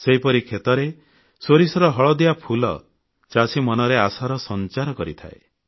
ସେହିପରି କ୍ଷେତରେ ସୋରିଷର ହଳଦିଆ ଫୁଲ ଚାଷୀ ମନରେ ଆଶାର ସଂଚାର କରିଥାଏ